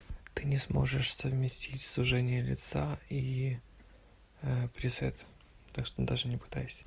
ты не сможешь совместить сужение лица и присед так что даже не пытайся